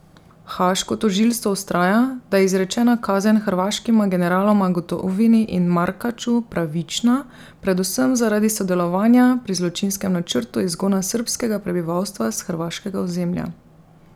Haaško tožilstvo vztraja, da je izrečena kazen hrvaškima generaloma Gotovini in Markaču pravična, predvsem zaradi sodelovanja pri zločinskem načrtu izgona srbskega prebivalstva s hrvaškega ozemlja.